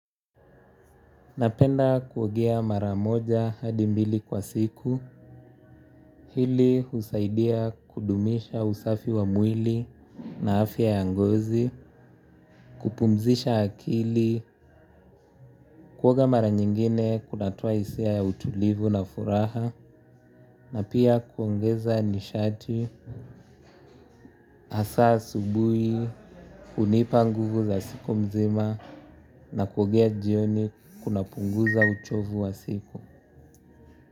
Napenda kuogea mara moja hadi mbili kwa siku, hili husaidia kudumisha usafi wa mwili na afya ya ngozi, kupumzisha akili, kuoga mara nyingine kunatoa hisia ya utulivu na furaha, na pia kuongeza nishati hasa asubuhi, hunipa nguvu za siku mzima na kuogea jioni kunapunguza uchovu wa siku.